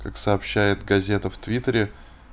как сообщает газета в твиттере